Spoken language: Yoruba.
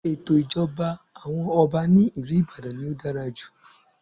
Ètò ìjọba àwọn Ọba ní ìlú Ìbàdàn ni ó dára jù.